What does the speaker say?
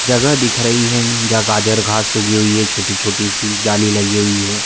जगह दिख रही है जहाँ गाजर घांस उगी हुई है छोटी-छोटी सी जाली लगी हुई है।